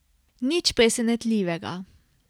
Nič presenetljivega.